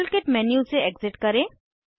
model kit menu से exit करें